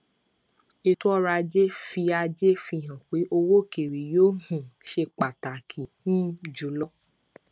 ẹtọ ọrọ ajé fi ajé fi hàn pé owó òkèèrè yóò um ṣe pàtàkì um jùlọ